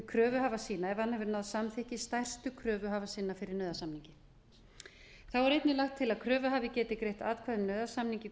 kröfuhafa sína ef hann hefur náð samþykki stærstu kröfuhafa sinna fyrir nauðasamningi þá er einnig lagt til að kröfuhafi geti greitt atkvæði um nauðasamning í